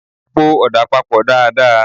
Po ọ̀dà papọ̀ dáa dáa!